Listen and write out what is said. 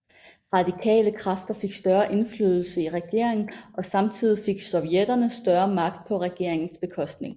Radikale kræfter fik større indflydelse i regeringen og samtidig fik sovjetterne større magt på regeringens bekostning